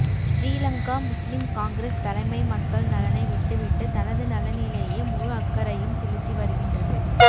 Sri Lanka Muslim Congress தலைமை மக்கள் நலனை விட்டு விட்டு தனது நலனிலேயே முழு அக்கறையும் செலுத்திவருகின்றது